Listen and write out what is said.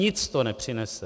Nic to nepřinese.